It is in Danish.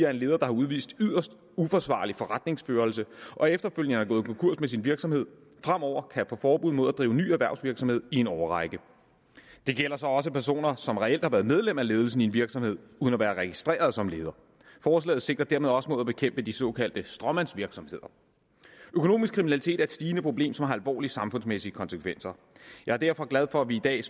at en leder der har udvist yderst uansvarlig forretningsførelse og efterfølgende er gået konkurs med sin virksomhed fremover kan få forbud mod at drive ny erhvervsvirksomhed i en årrække det gælder så også personer som reelt har været medlem af ledelsen i en virksomhed uden at være registreret som leder forslaget sigter dermed også mod at bekæmpe de såkaldte stråmandsvirksomheder økonomisk kriminalitet er et stigende problem som har alvorlige samfundsmæssige konsekvenser jeg er derfor glad for at vi i dag